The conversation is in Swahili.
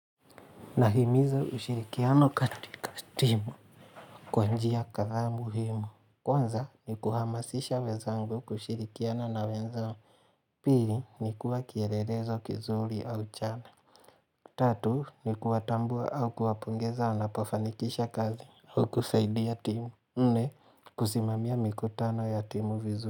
Nahimiza ushirikiano katika timu Kwa njia kadhaa muhimu Kwanza ni kuhamasisha wenzangu kushirikiana na wenzangu Pili ni kuwa kielelezo kizuri au chana Tatu ni kuwatambua au kuwapongeza anapofanikisha kazi au kusaidia timu nne kusimamia mikutano ya timu vizuri.